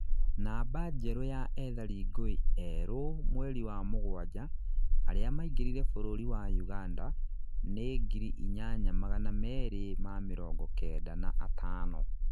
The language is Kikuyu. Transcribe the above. namba njerũ ya ethari ngũĩ erũ mweri wa mũgwanja aria maingĩrire bũrũri wa Uganda, nĩ ngiri inyanya magana merĩ ma mĩrongo Kenda na atano